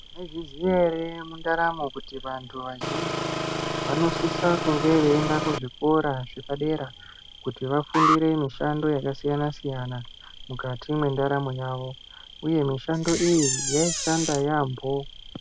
Maizviziva here mundaramo kuti vantu vazhinji vanosisa kunge veienda kuzvikora zvepadera kuti vafundire mishando yakasiyana siyana mukati mwendaramo yavo uye mishando iyi yaishanda yaambo.